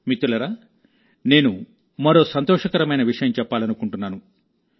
మిత్రులారానేను మరో సంతోషకరమైన విషయం చెప్పాలనుకుంటున్నాను